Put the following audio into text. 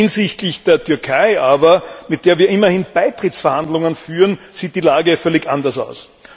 Hinsichtlich der Türkei aber, mit der wir immerhin Beitrittsverhandlungen führen, sieht die Lage völlig anders aus.